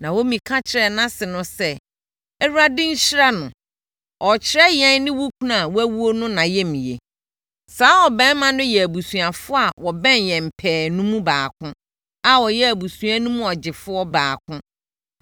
Naomi ka kyerɛɛ nʼase no sɛ, “ Awurade nhyira no. Ɔrekyerɛ yɛn ne wo kunu a wawuo no nʼayamyɛ. Saa ɔbarima no yɛ abusuafoɔ a wɔbɛn yɛn pɛɛ no mu baako a ɔyɛ abusua no mu ɔgyefoɔ baako.”